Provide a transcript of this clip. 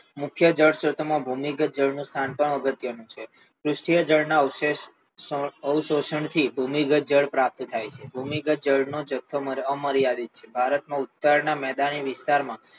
મુખ્ય જળ સ્ત્રોતમાં ભૂમિગત જળ સ્ત્રોતનું સ્થાન પણ અગત્યનું છે સૃષ્ટિએ જળના અવશેષ અવશોષણથી ભૂમિગત જળ પ્રાપ્ત થાય છે ભૂમિગત જળનો જથ્થો અમર્યાદિત છે ભારતના ઉત્તરીય મેદાની વિસ્તારમાં